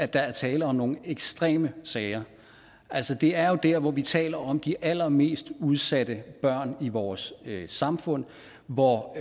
der er tale om nogle ekstreme sager det er jo der hvor vi taler om de allermest udsatte børn i vores samfund hvor